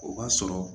O b'a sɔrɔ